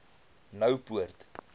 noupoort